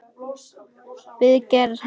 við gerð hans.